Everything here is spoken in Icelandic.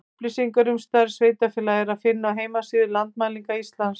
Upplýsingar um stærð sveitarfélaga er að finna á heimasíðu Landmælinga Íslands.